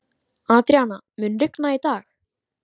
Adríana, mun rigna í dag?